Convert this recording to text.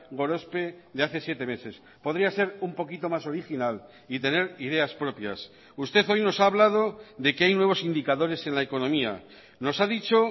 gorospe de hace siete meses podría ser un poquito más original y tener ideas propias usted hoy nos ha hablado de que hay nuevos indicadores en la economía nos ha dicho